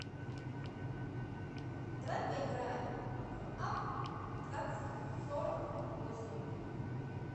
давай поиграем в апп двадцать сорок восемь